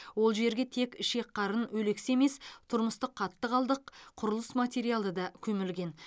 ол жерге тек ішек қарын өлексе емес тұрмыстық қатты қалдық құрылыс материалы да көмілген